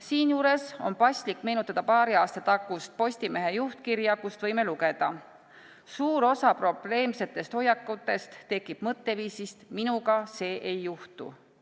Siinjuures on paslik meenutada paari aasta tagust Postimehe juhtkirja, kust võime lugeda: "Suur osa probleemsetest hoiakutest tekib mõtteviisist "minuga ei juhtu".